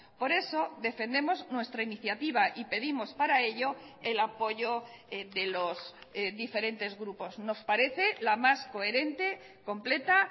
por eso defendemos nuestra iniciativa y pedimos para ello el apoyo de los diferentes grupos nos parece la más coherente completa